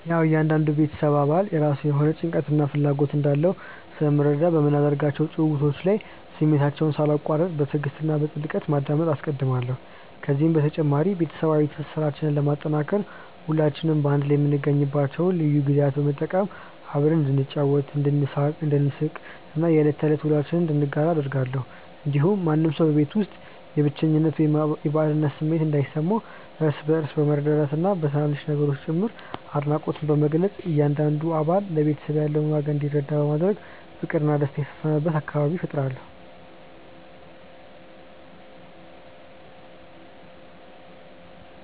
ያዉ እያንዳንዱ የቤተሰብ አባል የራሱ የሆነ ጭንቀትና ፍላጎት እንዳለው ስለሚረዳኝ፣ በምናደርጋቸው ጭውውቶች ላይ ስሜታቸውን ሳላቋርጥ በትዕግስት እና በጥልቀት ማዳመጥን አስቀድማለሁ። ከዚህ በተጨማሪ፣ ቤተሰባዊ ትስስራችንን ለማጠናከር ሁላችንም በአንድ ላይ የምንገኝባቸውን ልዩ ጊዜያት በመጠቀም አብረን እንድንጫወት፣ እንድንሳቅ እና የዕለት ተዕለት ውሎአችንን እንድንጋራ አደርጋለሁ። እንዲሁም ማንም ሰው በቤት ውስጥ የብቸኝነት ወይም የባዕድነት ስሜት እንዳይሰማው፣ እርስ በእርስ በመረዳዳትና በትናንሽ ነገሮችም ጭምር አድናቆትን በመግለጽ እያንዳንዱ አባል ለቤተሰቡ ያለውን ዋጋ እንዲረዳ በማድረግ ፍቅርና ደስታ የሰፈነበት አካባቢ እፈጥራለሁ።